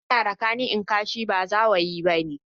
In ka ji ana raka ni kashi, ba zawayi/zawo ba ne.